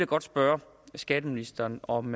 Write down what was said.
godt spørge skatteministeren om